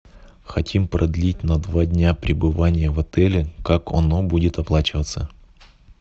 хотим продлить на два дня пребывание в отеле как оно будет оплачиваться